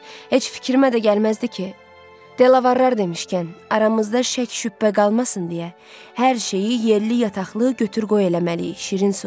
Heç fikrimə də gəlməzdi ki, Delavard demişkən, aramızda şəkk-şübhə qalmasın deyə hər şeyi yerli-yataqlı götür-qoy eləməliyik, şirin su.